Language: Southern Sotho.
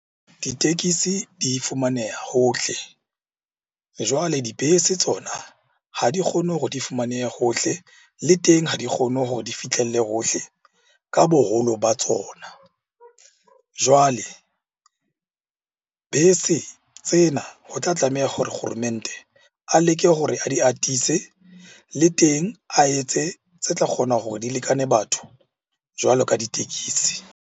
Ditekesi di fumaneha hohl. Jwale dibese tsona ha di kgone hore di fumanehe hohle, le teng ha di kgone hore di fihlelle hohle ka boholo ba tsona. Jwale bese tsena ho tla tlameha hore kgoromente a leke hore a di atise. Le teng a etse tse tla kgona hore di lekane batho jwalo ka ditekesi.